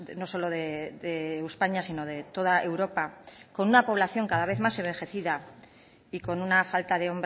no solo de españa sino de toda europa con una población cada vez más envejecida y con una falta de